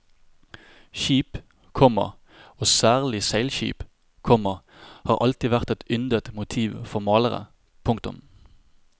Skip, komma og særlig seilskip, komma har alltid vært et yndet motiv for malere. punktum